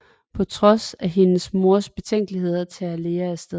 På trods af hendes mors betænkeligheder tager Lea afsted